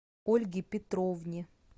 ольге петровне